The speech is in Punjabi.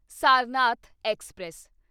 ਸਾਰਨਾਥ ਐਕਸਪ੍ਰੈਸ